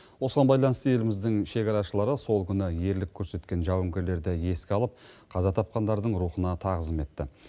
осыған байланысты еліміздің шекарашылары сол күні ерлік көрсеткен жауынгерлерді еске алып қаза тапқандардың рухына тағзым етті